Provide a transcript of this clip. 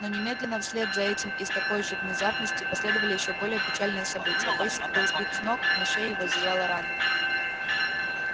но немедленно вслед за этим и с такой же внезапностью последовали ещё более печальные события бэсик был сбит с ног на шее его зияла рана